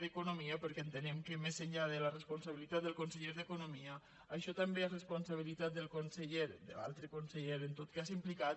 d’economia perquè entenem que més enllà de la responsabilitat del conseller d’economia això també és responsabilitat de l’altre conseller en tot cas implicat